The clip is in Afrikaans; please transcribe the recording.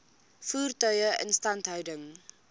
voertuie instandhouding